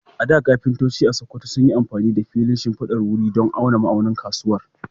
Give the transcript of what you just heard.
A da, kafintoci a Sakkwato sun yi amfani da filin shimfidar wuri don auna ma'aunin kusurwa.